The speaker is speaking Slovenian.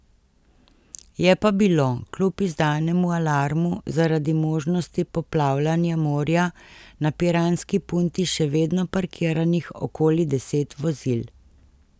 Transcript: Je pa bilo kljub izdanemu alarmu zaradi možnosti poplavljanja morja na piranski punti še vedno parkiranih okoli deset vozil.